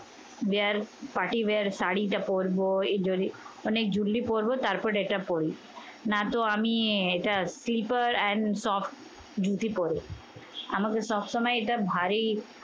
বিয়ার party বিয়ার শাড়িটা পরবো. এই jewellery অনেক jewelry পরবো তারপর এটা পরি। না তো আমি এটা slipper and soft ধুত পরে। আমাকে সবসময় এটা ভারী